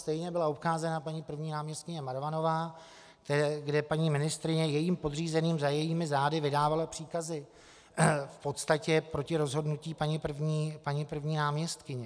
Stejně byla obcházena paní první náměstkyně Marvanová, kde paní ministryně jejím podřízeným za jejími zády vydávala příkazy v podstatě proti rozhodnutí paní první náměstkyně.